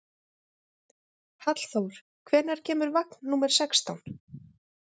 Hallþór, hvenær kemur vagn númer sextán?